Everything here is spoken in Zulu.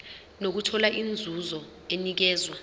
nokuthola inzuzo enikezwa